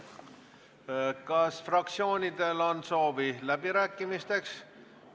Kas fraktsioonidel on soovi läbirääkimisteks?